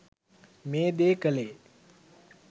මේ දේ කළේ.